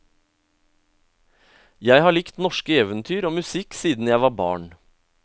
Jeg har likt norske eventyr og musikk siden jeg var barn.